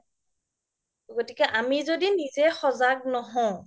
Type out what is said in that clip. গতিক আমি যদি নিজে সজাগ নহও